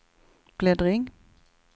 bläddring